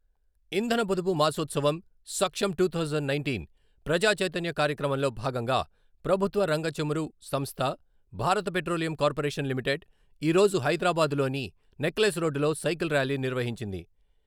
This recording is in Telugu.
ఇంధన పొదుపు మాసోత్సవం సక్షమ్ టూ థౌసండ్ నైన్‌టీన్ ప్రజా చైతన్య కార్యక్రమంలో భాగంగా ప్రభుత్వ రంగ చమురు సంస్థ, భారత పెట్రోలియం కార్పొరేషన్ లిమిటెడ్ ఈ రోజు హైదరాబాద్‌లోని నెక్లెస్ రోడ్డులో సైకిల్ ర్యాలీ నిర్వహించింది.